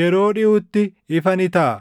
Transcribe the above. Yeroo dhiʼutti ifa ni taʼa.